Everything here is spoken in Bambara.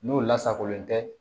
N'o lasagolen tɛ